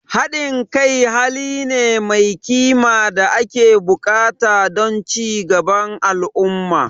Haɗin kai hali ne mai kima da ake buƙata don ci gaban al'umma.